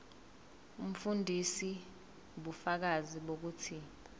umfundisi ubufakazi bokuthi